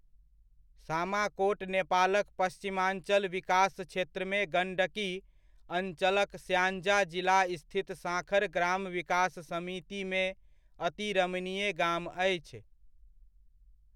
सामाकोट नेपालक पश्चिमाञ्चल विकास क्षेत्रमे गण्डकी अञ्चलक स्याङ्जा जिला स्थित साँखर ग्राम विकास समितिमे अति रमणीय गाम अछि।